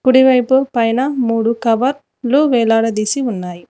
కుడివైపు పైన మూడు కవర్ లు వేలాడదీసి ఉన్నాయి.